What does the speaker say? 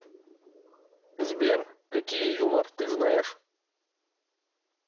сбер какие юмор ты знаешь